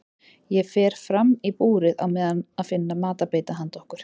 Ég fer fram í búrið á meðan að finna matarbita handa okkur.